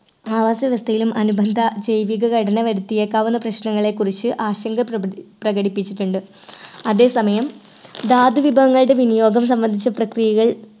ആവാസ വ്യവസ്ഥയിലും അനുബന്ധ ജൈവിക ഘടന വരുത്തിയേക്കാവുന്ന പ്രശ്നങ്ങളെക്കുറിച്ചു ആശങ്ക പ്രകബി പ്രകടിപ്പിച്ചിട്ടുണ്ട് അതെസമയം ധാതു വിഭവങ്ങളുടെ വിനിയോഗം സംബന്ധിച്ച പ്രക്രിയകൾ